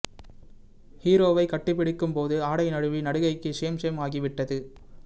ஹீரோவை கட்டிப்பிடிக்கும் போது ஆடை நழுவி நடிகைக்கு ஷேம் ஷேம் ஆகிவிட்டது